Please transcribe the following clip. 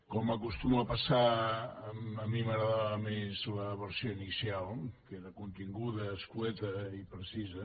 com acostuma a passar a mi m’agradava més la versió inicial que era continguda escarida i precisa